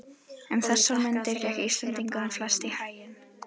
Um þessar mundir gekk Íslendingunum flest í haginn.